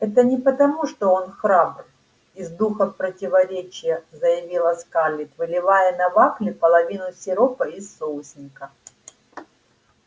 это не потому что он храбр из духа противоречия заявила скарлетт выливая на вафли половину сиропа из соусника